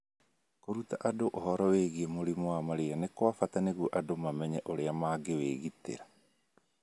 Kũruta andũ ũhoro wĩgiĩ mũrimũ wa malaria nĩ kwa bata nĩguo andũ mamenye ũrĩa mangĩwĩgitĩra